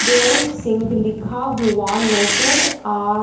दोल सिंह लिखा हुआ नजर आ--